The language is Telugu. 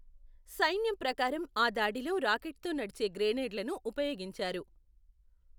సైన్యం ప్రకారం, ఆ దాడిలో రాకెట్తో నడిచే గ్రెనేడ్లను ఉపయోగించారు.